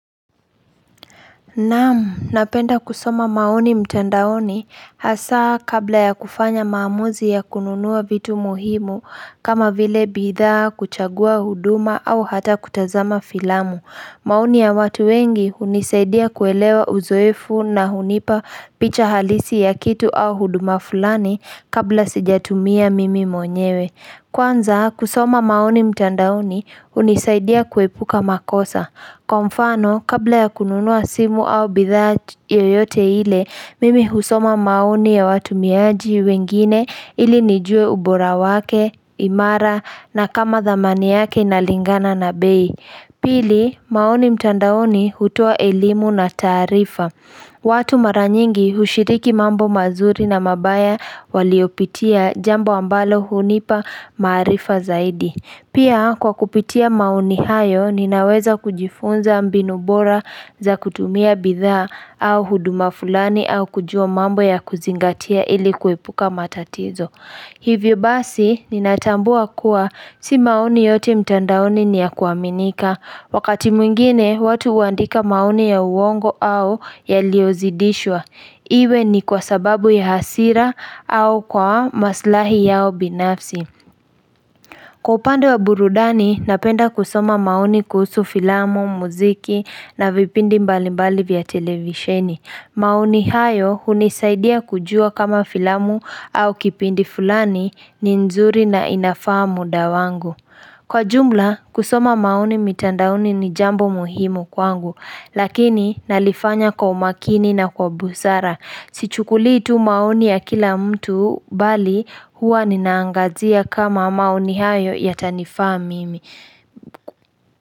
Naam, napenda kusoma maoni mtandaoni hasaa kabla ya kufanya maamuzi ya kununua vitu muhimu kama vile bithaa, kuchagua huduma au hata kutazama filamu. Maoni ya watu wengi hunisaidia kuelewa uzoefu na hunipa picha halisi ya kitu au huduma fulani kabla sijatumia mimi mwenyewe. Kwanza, kusoma maoni mtandauoni hunisaidia kuepuka makosa. Kwa mfano, kabla ya kununua simu au bidhaa yoyote ile, mimi husoma maoni ya watumiaji wengine ili nijue ubora wake, imara na kama dhamani yake inalingana na bei. Pili, maoni mtandaoni hutoa elimu na taarifa. Watu mara nyingi hushiriki mambo mazuri na mabaya waliopitia jambo ambalo hunipa maarifa zaidi. Pia kwa kupitia maoni hayo ninaweza kujifunza mbinu bora za kutumia bidhaa au huduma fulani au kujua mambo ya kuzingatia ili kuepuka matatizo. Hivyo basi ninatambua kuwa si maoni yote mtandaoni ni ya kuaminika. Wakati mwingine watu huandika maoni ya uongo au yaliyozidishwa. Iwe ni kwa sababu ya hasira au kwa maslahi yao binafsi. Kwa upande wa burudani, napenda kusoma maoni kuhusu filamu, muziki na vipindi mbalimbali vya televisheni. Maoni hayo hunisaidia kujua kama filamu au kipindi fulani ni nzuri na inafaa muda wangu. Kwa jumla, kusoma maoni mitandaoni ni jambo muhimu kwangu, lakini nalifanya kwa umakini na kwa busara. Sichukuliitu maoni ya kila mtu bali huwa ninaangazia kama maoni hayo ya tanifa mimi.